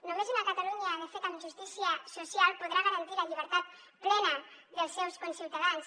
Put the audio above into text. només una catalunya de fet amb justícia social podrà garantir la llibertat plena dels seus conciutadans